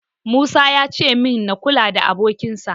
Musa yace min na kula da abokinsa.